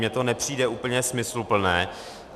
Mně to nepřijde úplně smysluplné.